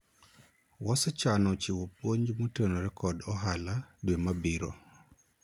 wasechano chiwo puonj motenore kod ohala dwe mabiro